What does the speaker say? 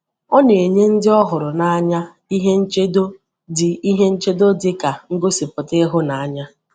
Ọ na-enye ndị ọ hụrụ n’anya ihe nchedo dị ihe nchedo dị ka ngosipụta ịhụnanya.